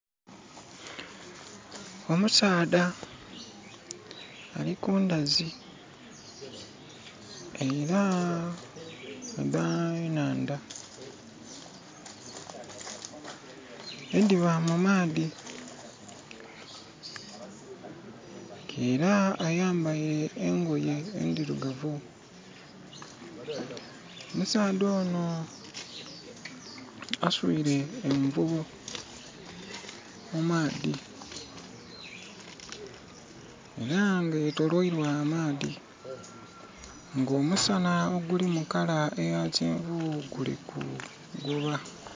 Omusaadha ali kundazi era dha nhandha ediba mu maadhi era ayambaile engoye endirugavu. Musaadha ono aswire envubo mu maadhi era nga yetoloirwa amaadhi nga omusana oguli mu kala eya kyenvu gulikuguba